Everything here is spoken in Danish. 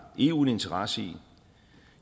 eu en interesse i